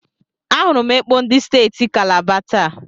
Ahụrụ m ekpo ndị steeti Kalaba taa.